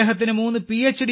അദ്ദേഹത്തിന് മൂന്ന് പി